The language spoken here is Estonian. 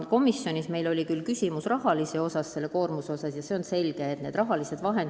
Komisjonis tekkis meil küsimus suurema töökoormusega seotud rahastamise kohta.